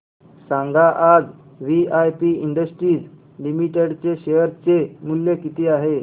सांगा आज VIP industries limited चे शेअर चे मूल्य किती आहे